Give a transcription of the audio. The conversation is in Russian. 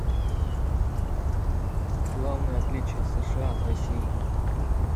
главное отличие сша от россии